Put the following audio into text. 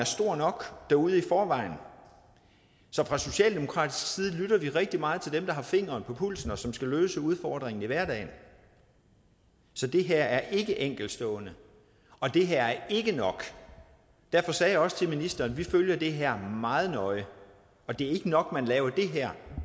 stor nok derude i forvejen så fra socialdemokratisk side lytter vi rigtig meget til dem der har fingeren på pulsen og som skal løse udfordringen i hverdagen så det her er ikke enkeltstående og det her er ikke nok derfor sagde jeg også til ministeren vi følger det her meget nøje og det er ikke nok at man laver det her